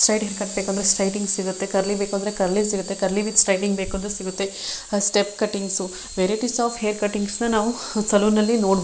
siding cut ಬೇಕು ಅಂದ್ರೆ straightening ಸಿಗುತ್ತೆ ಕರ್ಲಿ ಬೇಕು ಅಂದ್ರೆ curly with straight cutting step cutting varieties ಆ ಹೈರ್ ಕಟಿಂಗ್ಸ್ ನ ನಾವು ಸೆಲೂನ್ ಅಲ್ಲಿ ನೋಡಬಹುದು --